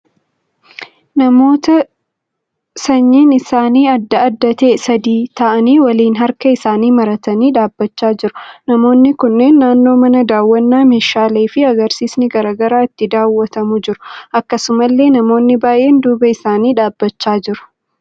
Namoota sanyiin isaanii adda addaa ta'e sadii ta'aanii waliin harka isaanii maratanii dhaabbachaa jiru. Namoonni kunneen naannoo mana daawwannaa meeshaalee fi agarsiisni garaa garaa itti daawwatamu jiru. Akkasumallee namoonni baay'een duuba isaanii dhaabbachaa jiru.